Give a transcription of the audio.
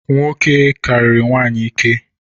Nwoke kariri nwanyi ike